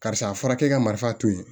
Karisa a fɔra k'e ka marifa to yen